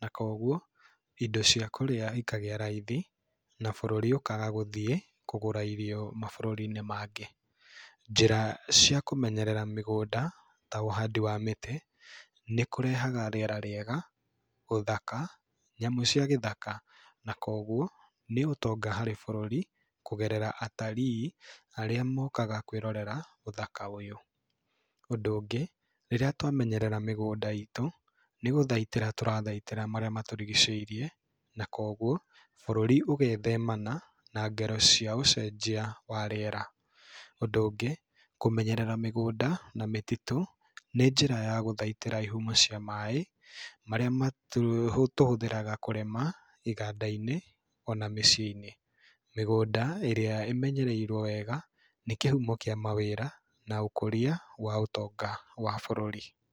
na koguo indo cia kũrĩa ikagĩa raithi na bũrũri ũkaaga gũthiĩ kũgũra irio mabũrũri-inĩ mangĩ. Njĩra cia kũmenyerera mĩgũnda ta ũhandi wa mĩtĩ nĩ kũrehaga rĩera rĩega, ũthaka, nyamũ cia gĩthaka, na koguo nĩ ũtonga harĩ bũrũri kũgerera atalii arĩa mokaga kwĩrorera ũthaka ũyũ. Ũndũ ũngĩ, rĩrĩa twamenyerera mĩgũnda itũ, nĩ gũthaitĩra tũrathaitĩra marĩa matũrigicĩirie na koguo bũrũri ũgethemana na ngero cia ũcenjia wa rĩera. Ũndũ ũngĩ, kũmenyerera mĩgũnda na mĩtitũ, nĩ njĩra ya gũthaitĩra ihumo cia maaĩ marĩa matũ, tũhũthĩraga kũrĩma, iganda-inĩ ona mĩciĩ-inĩ. Mĩgũnda ĩrĩa ĩmenyereirwo wega nĩ kĩhumo kĩa mawĩra na ũkũria wa ũtonga wa bũrũri.